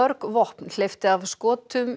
vopna hleypti skotum